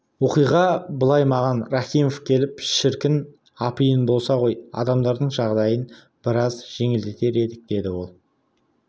оқиға былай маған рахимов келіп шіркін апиын болса ғой адамдардың жағдайын біраз жеңілдетер едік деді ол